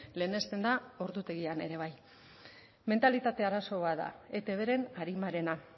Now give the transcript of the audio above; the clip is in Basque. lehenesten da ordutegian ere bai mentalitate arazo bat da etbren arimarena